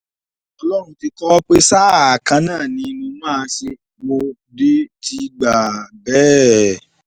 ọlọ́run ti kọ́ ọ pé sáà kan náà ni mo máa ṣe mo dé ti gbà bẹ́ẹ̀